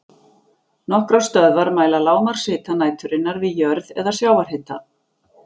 Nokkrar stöðvar mæla lágmarkshita næturinnar við jörð eða sjávarhita.